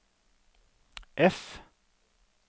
F